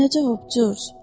Nə cavab, Corc?